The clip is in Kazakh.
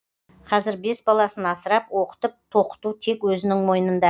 қазір бес баласын асырап оқытып тоқыту тек өзінің мойнында